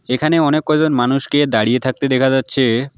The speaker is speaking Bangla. এখানে অনেক কয়জন মানুষকে দাঁড়িয়ে থাকতে দেখা যাচ্ছে।